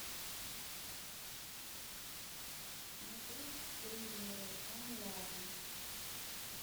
смотреть триллеры онлайн